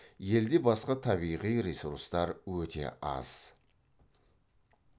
елде басқа табиғи ресурстар өте аз